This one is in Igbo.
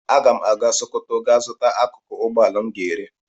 Aga m aga Sokoto gaa zuta akụkụ ugboala m ga-ere.